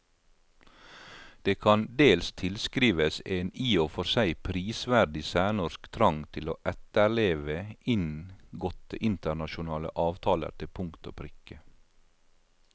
Det kan dels tilskrives en i og for seg prisverdig særnorsk trang til å etterleve inngåtte internasjonale avtaler til punkt og prikke.